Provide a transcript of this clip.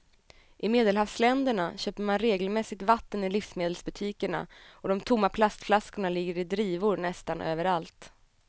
I medelhavsländerna köper man regelmässigt vatten i livsmedelsbutikerna och de tomma plastflaskorna ligger i drivor nästan överallt.